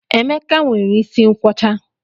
Emeka nwere isi nkwọcha